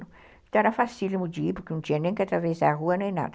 Então era facílimo de ir, porque não tinha nem que atravessar a rua, nem nada.